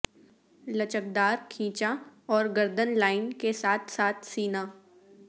لچکدار کھینچا اور گردن لائن کے ساتھ ساتھ سینہ